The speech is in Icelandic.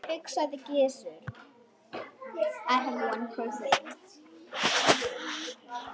hugsaði Gizur.